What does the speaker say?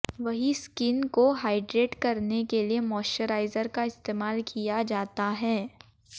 वहीं स्किन को हाइड्रेट करने के लिए मॉइश्चराइजर का इस्तेमाल किया जाता है